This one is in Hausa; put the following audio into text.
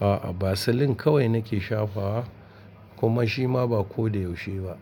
Aa vaseline kawai nake shafawa kuma shima ba ko da yaushe ba.